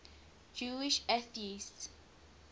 jewish atheists